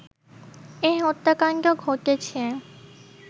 এ হত্যাকাণ্ড ঘটেছে